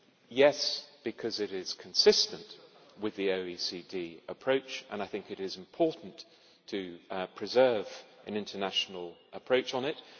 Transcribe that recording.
Yes, because it is consistent with the OECD approach, and I think it is important to preserve an international approach on it.